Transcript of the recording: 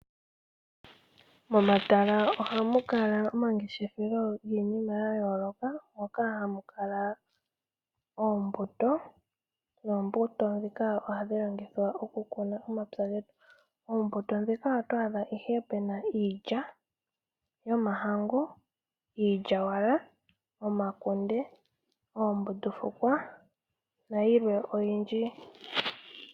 Momatala ohamu kala omangeshefelo giinima yayooloka moka hamu kala oombuto, noombuto ndhika ohadhi longithwa okukuna omapya getu. Oombuto ndjika oto adha ihe puna iilya yomahangu, iilyawala, omakunde, oombundu fukwa nayilwe oyindji.